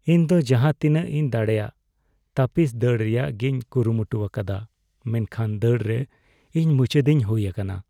ᱤᱧ ᱫᱚ ᱡᱟᱦᱟᱛᱤᱱᱟᱹᱜᱤᱧ ᱫᱟᱲᱮᱭᱟᱜ ᱛᱟᱹᱯᱤᱥ ᱫᱟᱹᱲ ᱨᱮᱭᱟᱜᱤᱧ ᱠᱩᱨᱩᱢᱩᱴᱩᱣᱟᱠᱟᱫᱟ ᱢᱮᱱᱠᱷᱟᱱ ᱫᱟᱹᱲ ᱨᱮ ᱤᱧ ᱢᱩᱪᱟᱹᱫᱤᱧ ᱦᱩᱭ ᱟᱠᱟᱱᱟ ᱾